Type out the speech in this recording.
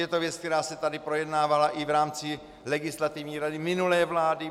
Je to věc, která se tady projednávala i v rámci Legislativní rady minulé vlády.